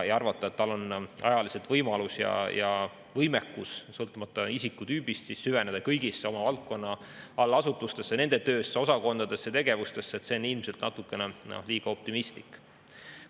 Arvata, et tal on ajaliselt võimalus ja ka võimekus, sõltumata isikutüübist, süveneda kõigi oma valdkonna allasutuste töösse, osakondadesse ja tegevustesse, on ilmselt natukene liiga optimistlik.